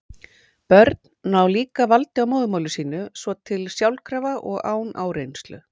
Börn ná líka valdi á móðurmáli sínu svo til sjálfkrafa og án áreynslu.